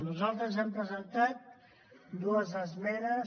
nosaltres hem presentat dues esmenes